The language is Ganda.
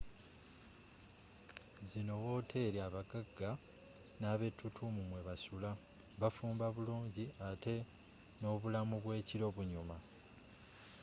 zino wooteri abaggagga n'abettutumu mwebasula bafumba bulungi atte n'obulamu bw'ekiro bunyuma